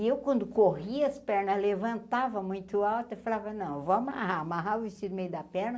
E eu quando corria as pernas, levantava muito alto eu falava, não, vou amarrar, amarrava o vestido do meio da perna,